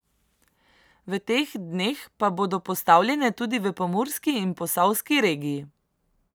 V teh dneh pa bodo postavljene tudi v Pomurski in Posavski regiji.